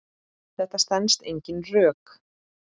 Þetta stenst engin rök.